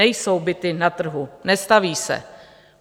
Nejsou byty na trhu, nestaví se.